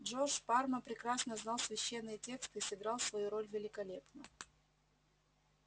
джордж парма прекрасно знал священные тексты и сыграл свою роль великолепно